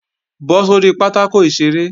Bọ́ sórí pátákò ìṣeré!